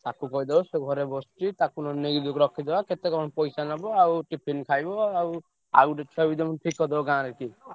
ତାକୁ କହିଦବ ସେ ଘରେ ବସିଛି ତାକୁ ନହେଲେ ନେଇକି ଯଦି ରଖିଦବା। କେତେ କଣ ପଇସା ନବ ଆଉ tiffin ଖାଇବ ଆଉ, ଆଉ ଗୋଟେ ଛୁଆ ବି ତମେ ଠିକ କରିଦବ ଗାଁରେ କିଏ।